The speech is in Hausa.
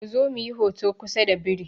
Ku zo muyi hoto kusa da biri!